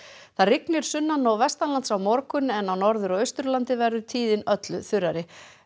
það rignir sunnan og á morgun en á Norður og Austurlandi verður tíðin öllu þurrari